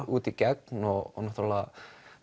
út í gegn og náttúrulega